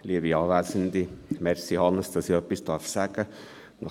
Danke, Hannes Zaugg, dafür, dass ich etwas sagen darf!